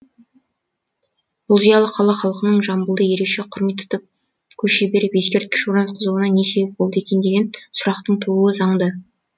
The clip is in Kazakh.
бұл зиялы қала халқының жамбылды ерекше құрмет тұтып көше беріп ескерткіш орнатқызуына не себеп болды екен деген сұрақтың тууы заңды